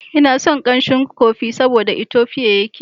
Ina son kamshin kofi saboda daga Ethiopia yake.